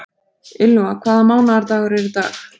Ylva, hvaða mánaðardagur er í dag?